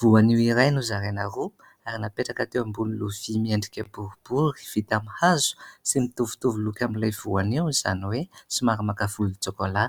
voanio iray nozaraina roa ary napetraka teo ambony lovia miendrika boribory vita amin'ny hazo sy mitovitovy loko amin'ilay voanio izany hoe somary maka volon-tsokola